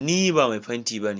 Ni ba mai fenti ba ne.